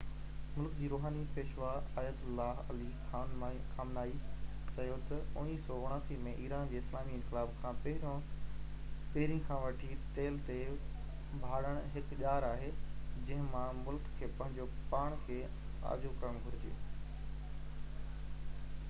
ملڪ جي روحاني پيشوا آیت اللہ علی خامنائي چيو تہ 1979 ۾ ايران جي اسلامي انقلاب کان پهرين کان وٺي تيل تي ڀاڙڻ هڪ ڄار آهي جنهن مان ملڪ کي پنهنجو پاڻ کي آجو ڪرڻ گهرجي